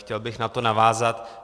Chtěl bych na to navázat.